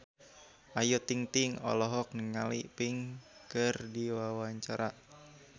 Ayu Ting-ting olohok ningali Pink keur diwawancara